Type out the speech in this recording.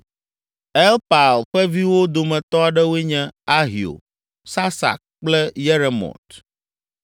Elpaal ƒe viwo dometɔ aɖewoe nye: Ahio, Sasak kple Yeremot.